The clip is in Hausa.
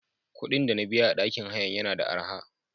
Kuɗin dana biya a ɗakin hayan yana da araha.